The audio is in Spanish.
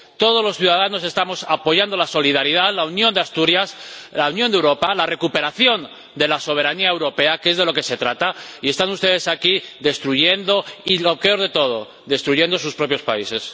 Todos los ciudadanos estamos apoyando la solidaridad, la unión de Asturias, la unión de Europa, la recuperación de la soberanía europea —que es de lo que se trata— y están ustedes aquí destruyendo, y lo peor de todo, destruyendo sus propios países.